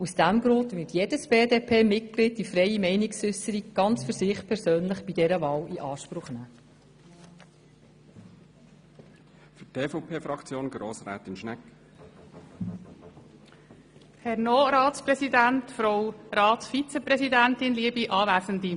Aus diesem Grund wird jedes BDP-Mitglied bei dieser Wahl für sich persönlich die freie Meinungsäusserung in Anspruch nehmen.